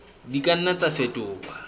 di ka nna tsa fetoha